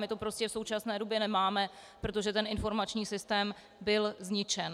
My to prostě v současné době nemáme, protože ten informační systém byl zničen.